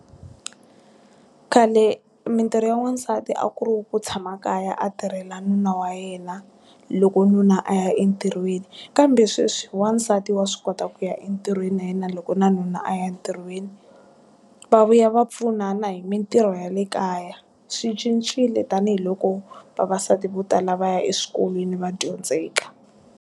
Khale mintirho ya n'wansati a ku ri ku tshama kaya a tirhela nuna wa yena, loko nuna a ya entirhweni. Kambe sweswi, wansati wa swi kota ku ya entirhweni na yena loko na nuna a ya ntirhweni. Va vuya va pfunana hi mintirho ya le kaya. Swi cincile tanihiloko vavasati vo tala va ya eswikolweni va dyondzeka.